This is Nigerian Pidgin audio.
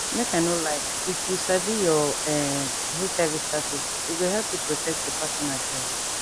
make i no lie if you sabi your[um]hiv status e go help you protect your partner join